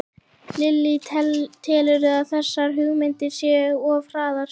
Lillý: Telurðu að þessar hugmyndir séu of hraðar?